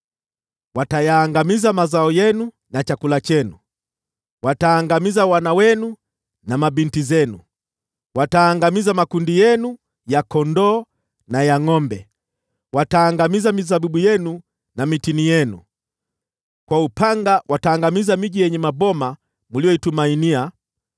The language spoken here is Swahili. Watayaangamiza mazao yenu na chakula chenu, wataangamiza wana wenu na mabinti zenu; wataangamiza makundi yenu ya kondoo na ya ngʼombe, wataangamiza mizabibu yenu na mitini yenu. Kwa upanga wataangamiza miji yenye maboma mliyoitumainia.